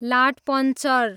लाटपन्चर